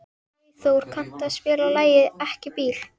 Freyþór, kanntu að spila lagið „Ekki bíl“?